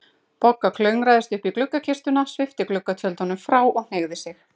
Bogga klöngraðist upp í gluggakistuna, svipti gluggatjöldunum frá og hneigði sig.